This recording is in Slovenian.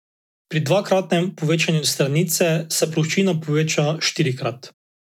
Pri dvakratnem povečanju stranice se ploščina poveča štirikrat.